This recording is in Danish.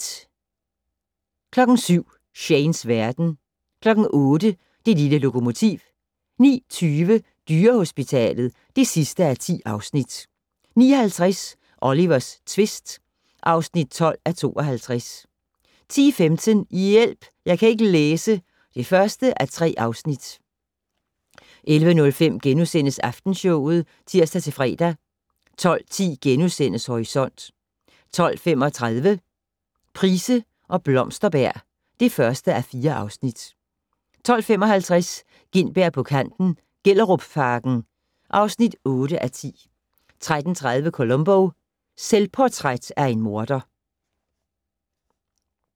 07:00: Shanes verden 08:00: Det lille lokomotiv 09:20: Dyrehospitalet (10:10) 09:50: Olivers tvist (12:52) 10:15: Hjælp! Jeg kan ikke læse (1:3) 11:05: Aftenshowet *(tir-fre) 12:10: Horisont * 12:35: Price og Blomsterberg (1:4) 12:55: Gintberg på kanten - Gellerupparken (8:10) 13:30: Columbo: Selvportræt af en morder